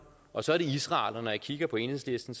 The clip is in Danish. og så er det israel og når jeg kigger på enhedslisten